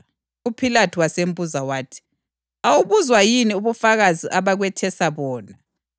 UPhilathu wasembuza wathi, “Awubuzwa yini ubufakazi abakwethesa bona?”